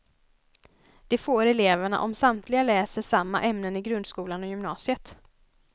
Det får eleverna om samtliga läser samma ämnen i grundskolan och gymnasiet.